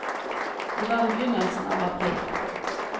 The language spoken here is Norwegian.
Det var i begynnelsen av april.